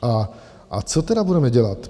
A co tedy budeme dělat?